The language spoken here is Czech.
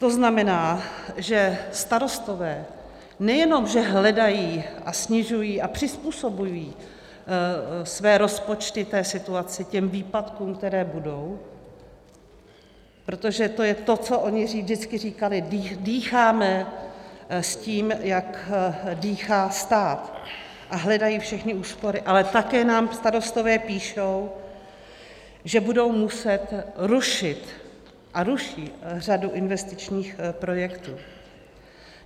To znamená, že starostové nejenom že hledají a snižují a přizpůsobují své rozpočty té situaci, těm výpadkům, které budou - protože to je to, co oni vždycky říkali: dýcháme s tím, jak dýchá stát -, a hledají všechny úspory, ale také nám starostové píšou, že budou muset rušit, a ruší, řadu investičních projektů.